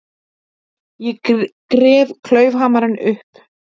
Ég gref klaufhamarinn upp.